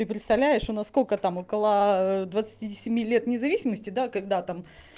и представляешь у нас сколько там около двадцати семи лет независимости да когда там